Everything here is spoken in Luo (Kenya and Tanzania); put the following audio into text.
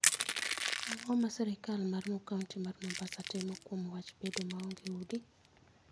Ang'o ma sirkal mar kaunti mar Mombasa timo kuom wach bedo maonge udi?